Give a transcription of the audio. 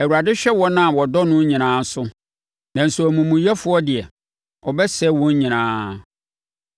Awurade hwɛ wɔn a wɔdɔ no nyinaa so, nanso amumuyɛfoɔ deɛ, ɔbɛsɛe wɔn nyinaa.